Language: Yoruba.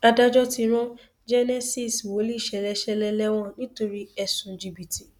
adájọ ti rán genesis wòlíì ṣẹlẹ ṣẹlẹ lẹwọn nítorí ẹsùn jìbìtì